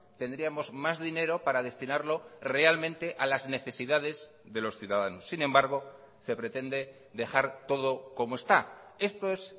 tendríamos más dinero para destinarlo realmente a las necesidades de los ciudadanos sin embargo se pretende dejar todo como está esto es